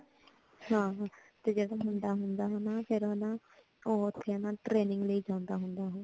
ਹਾਂ ਤੇ ਉਹ ਮੁੰਡਾ ਮੁੰਡਾ ਹੇਨਾ ਉਹ training ਲਈ ਜਾਂਦਾ ਹੋਂਦਾ